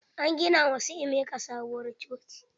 An gina ma su emeka sabuwar coci.